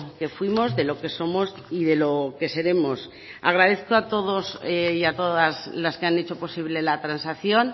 que fuimos de lo que somos y de lo que seremos agradezco a todos y a todas las que han hecho posible la transacción